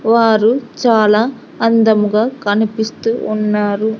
వారు చాలా అందముగా కనిపిస్తూ ఉన్నారు.